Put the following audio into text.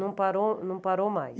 Não parou não parou mais.